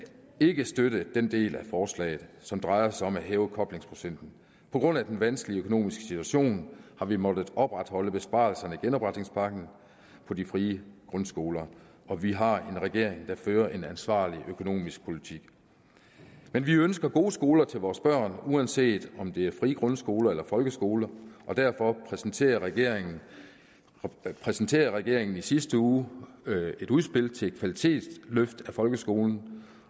ikke støtte den del af forslaget som drejer sig om at hæve koblingsprocenten på grund af den vanskelige økonomiske situation har vi måttet opretholde besparelserne i genopretningspakken på de frie grundskoler og vi har en regering der fører en ansvarlig økonomisk politik vi ønsker gode skoler til vores børn uanset om det er frie grundskoler eller folkeskoler og derfor præsenterede regeringen præsenterede regeringen i sidste uge et udspil til et kvalitetsløft af folkeskolen